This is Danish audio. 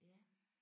Ja